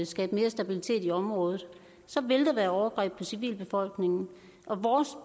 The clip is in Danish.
skabe mere stabilitet i området så vil der være overgreb på civilbefolkningen og vores